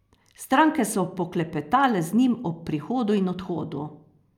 Stranke so poklepetale z njim ob prihodu in odhodu.